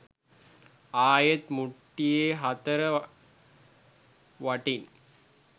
ආයෙත් මුට්ටියේ හතර වටින්